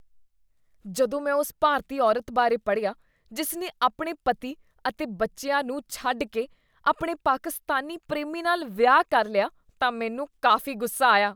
ਜਦੋਂ ਮੈਂ ਉਸ ਭਾਰਤੀ ਔਰਤ ਬਾਰੇ ਪੜ੍ਹਿਆ, ਜਿਸ ਨੇ ਆਪਣੇ ਪਤੀ ਅਤੇ ਬੱਚਿਆਂ ਨੂੰ ਛੱਡ ਕੇ ਆਪਣੇ ਪਾਕਿਸਤਾਨੀ ਪ੍ਰੇਮੀ ਨਾਲ ਵਿਆਹ ਕਰ ਲਿਆ ਤਾਂ ਮੈਨੂੰ ਕਾਫ਼ੀ ਗੁੱਸਾ ਆਇਆ।